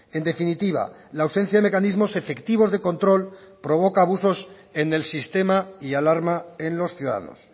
en definitiva la ausencia de mecanismos efectivos de control provoca abusos en el sistema y alarma en los ciudadanos